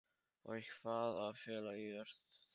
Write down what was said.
Og í hvaða félagi ert þú?